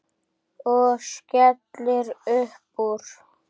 Og skellir upp úr.